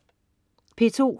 P2: